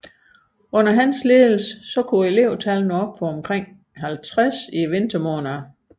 Under hans ledelse kunne elevtallet nå op på omkring 50 i vintermånederne